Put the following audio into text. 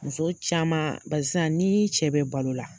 Muso caman bari sisan ni cɛ be balo la